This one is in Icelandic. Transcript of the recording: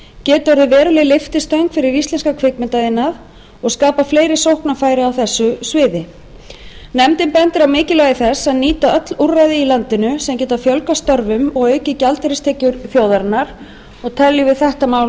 geti orðið veruleg lyftistöng fyrir íslenskan kvikmyndaiðnað og skapað fleiri sóknarfæri á þessu sviði nefndin bendir á mikilvægi þess að nýta öll úrræði í landinu sem geta fjölgað störfum og aukið gjaldeyristekjur þjóðarinnar og teljum við þetta mál